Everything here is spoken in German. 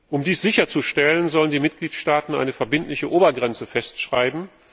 Um dies sicherzustellen, sollen die Mitgliedstaaten eine verbindliche Obergrenze festschreiben.